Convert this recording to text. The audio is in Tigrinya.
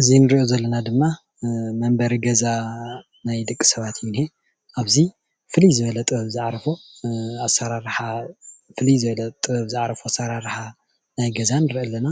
እዚ ንሪኦ ዘለና ድማ መንበሪ ገዛ ናይ ደቂ ሰባት እዩ ዝንሄ፡፡ ኣብዚ ፍልይ ዝበለ ጥበብ ዝዓረፎ ኣሰራርሓ ናይ ገዛ ንርኢ ኣለና፡፡